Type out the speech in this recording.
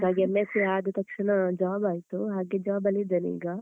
M.sc ಆದತಕ್ಷಣ job ಆಯ್ತು. ಹಾಗೆ job ನಲ್ಲಿದೇನೆ ಈಗ.